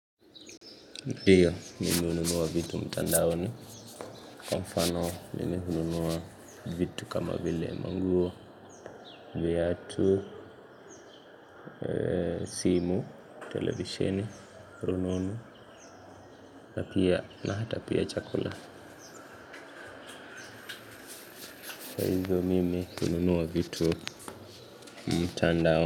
Ndiyo mimi hununua vitu mtandaoni. Kwa mfano mimeununua vitu kama vile manguo viatu, simu, televisheni, rununu. Na pia na hata pia chakula. Kwa hivyo mimi hununua vitu mtandaoni.